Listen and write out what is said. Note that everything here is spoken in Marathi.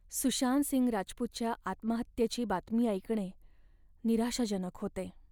सुशांत सिंग राजपूतच्या आत्महत्येची बातमी ऐकणे निराशाजनक होते.